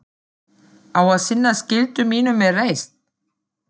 Á að sinna skyldu mínum með reisn.